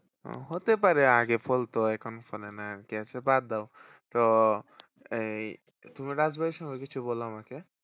হতে পারে আগে ফলত এখন ফলে না আরকি। আচ্ছা বাদ দাও তো এই তুমি রাজবাড়ি সম্পর্কে কিছু বল আমাকে?